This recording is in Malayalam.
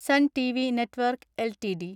Sun TV network LTD